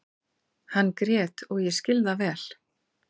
Hann grét og ég skil það vel.